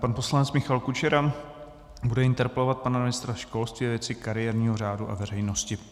Pan poslanec Michal Kučera bude interpelovat pana ministra školství ve věci kariérního řádu a veřejnosti.